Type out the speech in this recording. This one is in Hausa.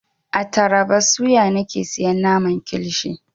A taraba suya nake siyan naman kilishi.